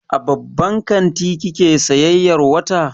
A babban kanti kike sayayyar wata?